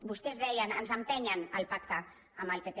vostès deien ens empenyen al pacte amb el pp